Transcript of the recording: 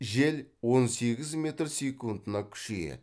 жел он сегіз метр секундына күшейеді